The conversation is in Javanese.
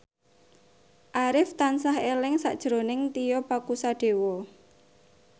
Arif tansah eling sakjroning Tio Pakusadewo